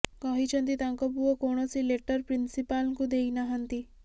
କହିଛନ୍ତି ତାଙ୍କ ପୁଅ କୌଣସି ଲେଟର ପ୍ରନ୍ସପାଲଙ୍କୁ ଦେଇ ନାହାନ୍ତି